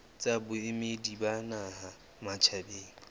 tsa boemedi ba naha matjhabeng